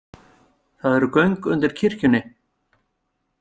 Það eru göng undir kirkjunni.